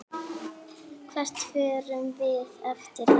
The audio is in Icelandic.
Hvert förum við eftir þetta?